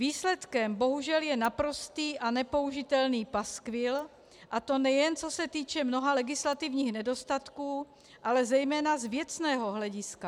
Výsledkem bohužel je naprostý a nepoužitelný paskvil, a to nejen co se týče mnoha legislativních nedostatků, ale zejména z věcného hlediska.